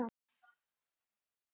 Inni í stjörnum verða til ný frumefni.